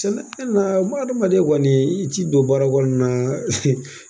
Na ma adamadama de kɔni ci don baara kɔnɔna na